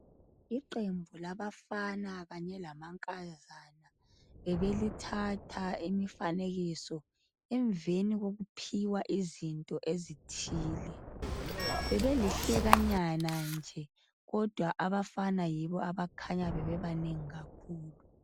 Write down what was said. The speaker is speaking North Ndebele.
Iqembu labafana kanye lamankazana bebelithatha imifanekiso emveni kokuphiwa izinto ezithile .Bebelihlekanyana nje ,kodwa abafana yibo abakhanya bebebanengi kakhulu.